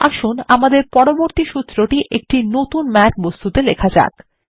আসুন আমাদের পরবর্তী সূত্রটি একটি নতুন ম্যাথ বস্তুতে লেখা যাক